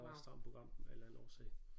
Der var et stramt program af en eller anden årsag